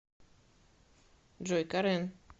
джой карен